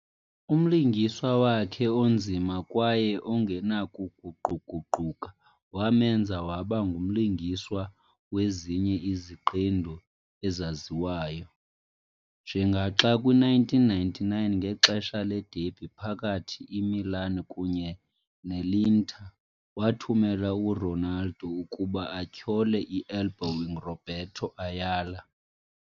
Umlingiswa wakhe onzima kwaye ongenakuguquguquka wamenza waba ngumlingiswa wezinye iziqendu ezaziwayo, njengaxa kwi -1999, ngexesha le-derby phakathi Imilan kunye ne Iinter, wathumela uRonaldo ukuba atyhole i-elbowing Roberto Ayala.